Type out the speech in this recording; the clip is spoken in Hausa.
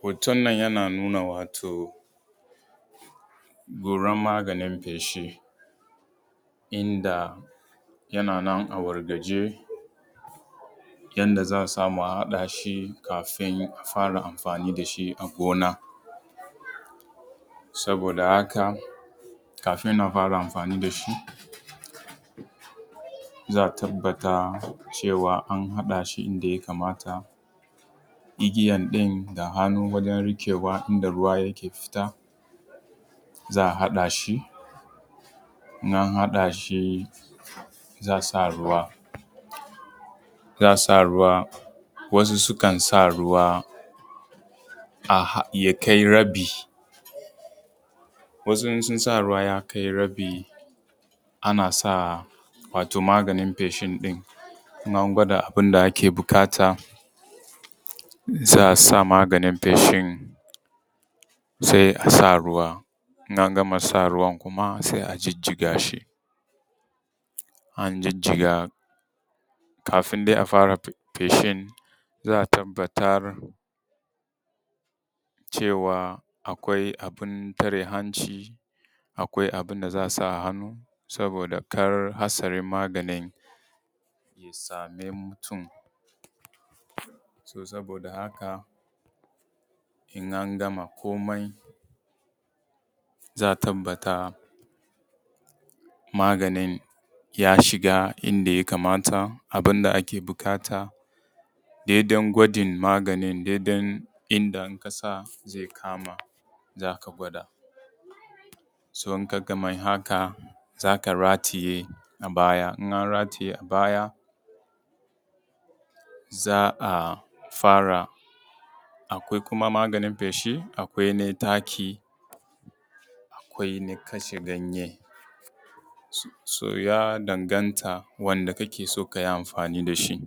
Hoton nan yana nuna cewa wato goran maganin feshi inda yana nan a wargaje yanda za a samu a haɗa shi kafin a fara amfani da shi a gona. Saboda haka kafin a fara amfani da shi, za a tabbata cewan an haɗa shi inda ya kamata, igiyan ɗin da hannu wurin riƙewa inda ruwa yake fita za a haɗa shi, in an haɗa shi za a sa ruwa. Wasu sukan sa ruwa ya kai rabi, wasu in su sa ruwa ya kai rabi ana sa wato maganin feshi ɗin, in an gwada abin da ake buƙata, za a sa maganin feshin sai a sa ruwa, in an gama sa ruwa sai a jijiga shi. In an jijiga kafin dai a fara feshin za a tabbatar cewa akwai abin tare hanci, akwai abin da za a sa a hannu saboda kar hatsarin maganin ya same mutun. To saboda da haka in an gama komai za a tabbata maganin ya shiga inda ya kamata abin da ake buƙata dai dai gwajin maganin, dai dai inda aka sa zai kama za ka gwada. So in ka gama haka, za ka rataye a baya, in an rataye a baya za a fara akwai kuma maganin feshin akwai na taki, akwai na kashe ganye, so ya danganta wanda ka ke so ka yi afanin da shi.